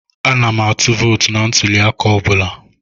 Ana m atụ vootu na ntụli aka elu I bụla.